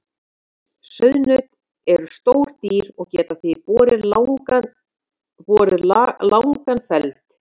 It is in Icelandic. Sauðnaut eru stór dýr og geta því borið langan feld.